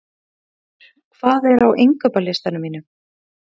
Geirfríður, hvað er á innkaupalistanum mínum?